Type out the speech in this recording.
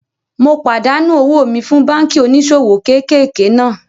Mo pàdánù owó mi fún báànkì oníṣòwò kéékèèké náà